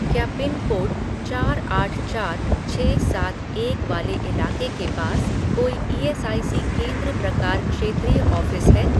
क्या पिनकोड चार आठ चार छः सात एक वाले इलाके के पास कोई ईएसआईसी केंद्र प्रकार क्षेत्रीय ऑफ़िस है?